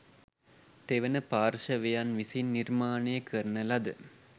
තෙවන පාර්ශවයන් විසින් නිර්මානය කරන ලද